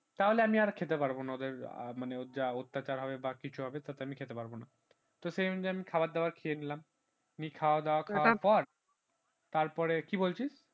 তাহলে আমি আর্ খেতে পারবো না মানে ওদের আহ মানে যা অত্যাচার হবে বা কিছু হবে তাতে আমি খেতে পারব না তো সেই অনুযায়ী আমি খাওয়া-দাওয়া খেয়ে নিলাম নিয়ে খাওয়া দাওয়া করার পর তারপরে কি বলছিস